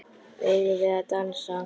Eigum við að dansa?